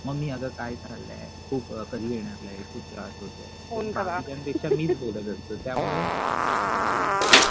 मग मी आता काय चाललंय खूप कधी येणार light खूप त्रास होतोय बाकीच्या पेक्षा मीच बोलत असतो त्यामुळे मला